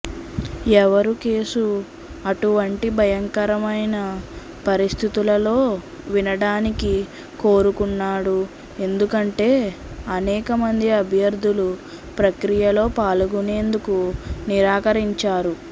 ఎవరూ కేసు అటువంటి భయంకరమైన పరిస్థితులలో వినడానికి కోరుకున్నాడు ఎందుకంటే అనేక మంది అభ్యర్థులు ప్రక్రియలో పాల్గొనేందుకు నిరాకరించారు